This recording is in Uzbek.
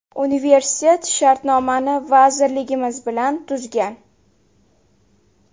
Universitet shartnomani vazirligimiz bilan tuzgan.